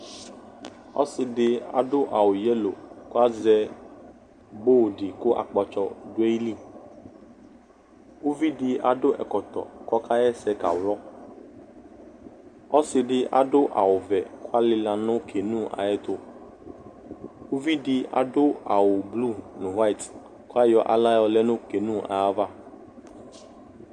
Ɔse de ado a wu yalo ko akpatsɔ do ayili Uvi de ado ɛkɔtɔ ko ɔkayɛse ka wlɔ Ɔse de ado awuvɛ ko ɔlela no Kanuu ayeto Uvi de aso awu blu no white ko ayɔ ala yɔlɛ no Kenu ava